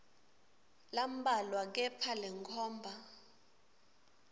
lambalwa kepha lenkhomba